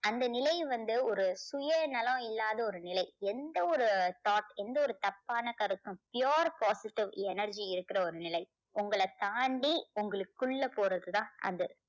அந்த நிலை வந்து ஒரு சுயநலம் இல்லாத ஒரு நிலை. எந்த ஒரு thought எந்த ஒரு தப்பான கருத்தும் pure positive energy இருக்கிற ஒரு நிலை. உங்களை தாண்டி உங்களுக்குள்ள போறது தான் அது.